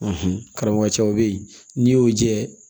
karamɔgɔ cɛw be yen n'i y'o jɛ